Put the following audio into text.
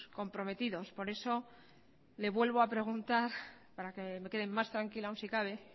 comprometidos por eso le vuelvo a preguntar para que me quede más tranquila aún si cabe